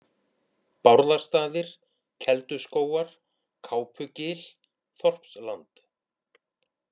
Bárðastaðir, Kelduskógar, Kápugil, Þorpsland